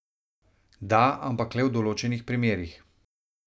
Da, ampak le v določenih primerih.